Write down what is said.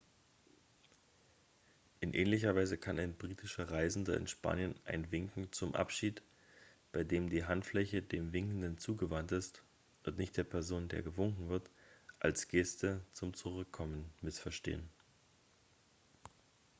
in ähnlicher weise kann ein britischer reisender in spanien ein winken zum abschied bei dem die handfläche dem winkenden zugewandt ist und nicht der person der gewunken wird als geste zum zurückkommen missverstehen